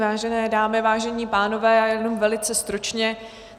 Vážené dámy, vážení pánové, já jenom velice stručně.